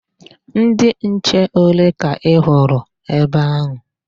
Ndị nche ole ka ị hụrụ ebe ahụ?